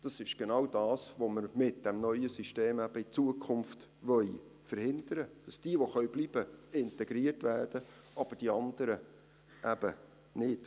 Das ist genau das, was wir mit dem neuen System in Zukunft eben verhindern wollen, damit diejenigen, die bleiben können, integriert werden, aber die anderen eben nicht.